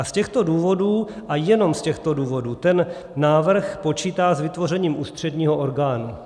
A z těchto důvodů, a jenom z těchto důvodů, ten návrh počítá s vytvořením ústředního orgánu.